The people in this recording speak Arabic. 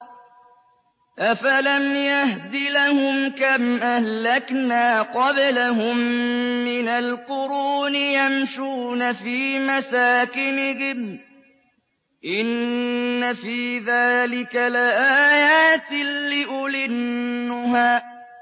أَفَلَمْ يَهْدِ لَهُمْ كَمْ أَهْلَكْنَا قَبْلَهُم مِّنَ الْقُرُونِ يَمْشُونَ فِي مَسَاكِنِهِمْ ۗ إِنَّ فِي ذَٰلِكَ لَآيَاتٍ لِّأُولِي النُّهَىٰ